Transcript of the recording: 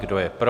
Kdo je pro?